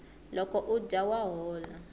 loko u dya wa hola